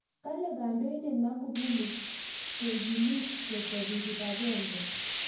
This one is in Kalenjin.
Kale kandoindet Maagufuli kekimit ketebi kibakenge.